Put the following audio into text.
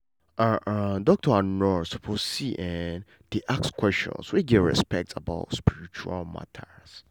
ah ah doctors and nurses suppose see[um]dey ask questions wey get respect about spiritual matter.